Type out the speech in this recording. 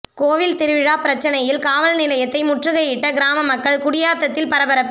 கோயில் திருவிழா பிரச்னையில் காவல் நிலையத்தை முற்றுகையிட்ட கிராம மக்கள் குடியாத்தத்தில் பரபரப்பு